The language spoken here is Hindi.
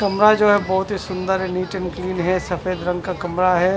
कमरा जो बहुत ही सुंदर नीट अँड क्लीन है सफेद रंग का कमरा है।